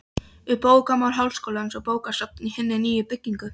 Um bókamál Háskólans og bókasafn í hinni nýju byggingu.